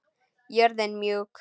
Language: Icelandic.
Jörðin mjúk.